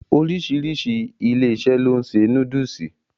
Oríṣiríṣi ilé-iṣẹ́ ló ń ṣe núdùsù.